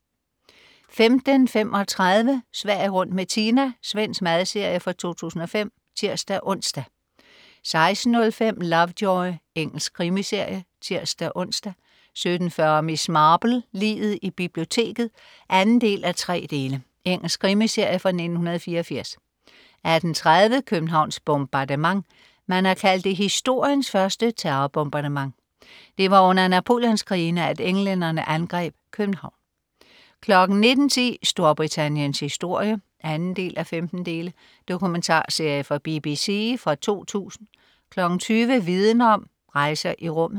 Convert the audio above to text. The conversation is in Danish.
15.35 Sverige rundt med Tina. Svensk madserie fra 2005 (tirs-ons) 16.05 Lovejoy. Engelsk krimiserie. (tirs-ons) 17.40 Miss Marple: Liget i biblioteket 2:3. Engelsk krimiserie fra 1984 18.30 Københavns bombardement. Man har kaldt det historiens første terrorbombardement. Det var under Napoleonskrigene, at englænderne angreb København 19.10 Storbritanniens historie 2:15. Dokumentarserie fra BBC fra 2000 20.00 Viden Om: Rejser i rummet